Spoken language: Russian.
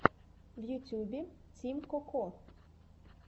в ютьюбе тим коко